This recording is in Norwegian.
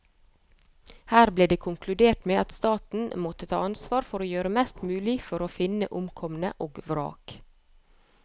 Her ble det konkludert med at staten måtte ta ansvar for å gjøre mest mulig for å finne omkomne og vrak.